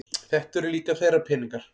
Þetta eru líka þeirra peningar